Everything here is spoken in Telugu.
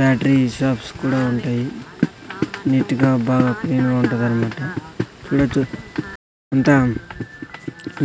బ్యాటరీ షాప్స్ కూడా ఉంటాయి నీట్ గా బాగా క్లీన్ గా ఉంటదన్మాట చూడచ్చు అంతా